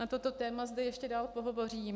Na toto téma zde ještě dál pohovořím.